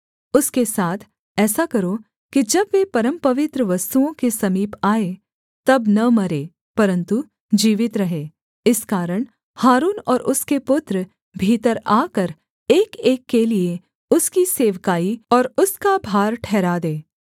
उसके साथ ऐसा करो कि जब वे परमपवित्र वस्तुओं के समीप आएँ तब न मरें परन्तु जीवित रहें इस कारण हारून और उसके पुत्र भीतर आकर एकएक के लिये उसकी सेवकाई और उसका भार ठहरा दें